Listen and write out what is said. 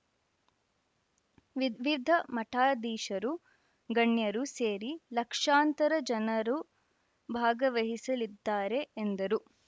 ವಿವಿಧ ಮಠಾಧೀಶರು ಗಣ್ಯರು ಸೇರಿ ಲಕ್ಷಾಂತರ ಜನರು ಭಾಗವಹಿಸಲಿದ್ದಾರೆ ಎಂದರು